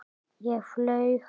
Ég flaug.